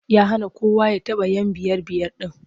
Ya hana kowa ya taɓa 'yan biyar-biyar ɗin.